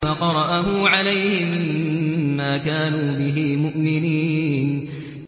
فَقَرَأَهُ عَلَيْهِم مَّا كَانُوا بِهِ مُؤْمِنِينَ